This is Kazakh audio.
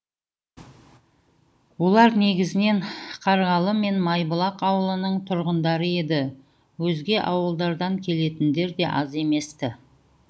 олар негізінен қарғалы мен майбұлақ ауылының тұрғындары еді өзге ауылдардан келетіндер де аз емес ті